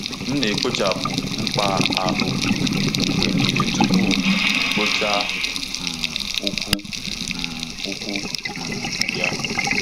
M na-ekpochapụ mkpa ahụ mgbe niile tupu m kpụchaa um ụkwụ um ụkwụ um ya.